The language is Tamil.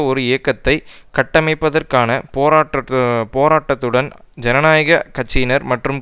ஒரு இயக்கத்தை கட்டியமைப்பதற்கான போராட் போராட்டத்துடன் ஜனநாயக கட்சியினர் மற்றும்